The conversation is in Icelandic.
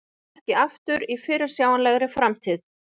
Snúa ekki aftur í fyrirsjáanlegri framtíð